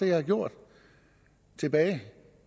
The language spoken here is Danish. jeg har gjort tilbage